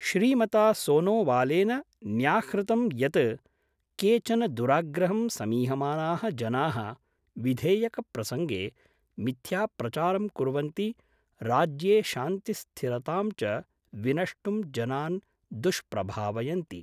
श्रीमता सोनोवालेन न्याहृतं यत् केचन दुराग्रहं समीहमाना: जना: विधेयकप्रसंगे मिथ्याप्रचारं कुर्वन्ति राज्ये शान्तिस्थिरतां च विनष्टुं जनान् दुष्प्रभावयन्ति।